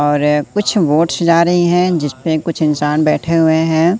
और कुछ बोट्स जा रही है जिसपे कुछ इंसान बैठे हुए है।